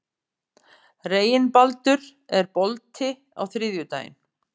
Reginbaldur, er bolti á þriðjudaginn?